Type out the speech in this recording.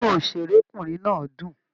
Inú òṣèrékùnrin náà dún.